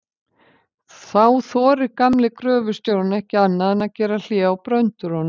Þá þorir gamli gröfustjórinn ekki annað en að gera hlé á bröndurunum.